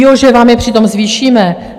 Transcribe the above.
Jo, že vám je přitom zvýšíme?